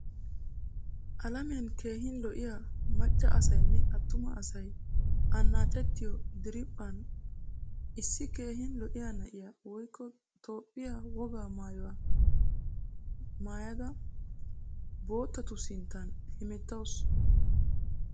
Alamiyan keehin lo'iyaa macca asaynne attuma asay annacettiyo diriphphan issi keehin lo'iyaa na'iyaa woykko toophphiyaa wogaa maayuwaa maayda boottattu sinttan hemettawusu.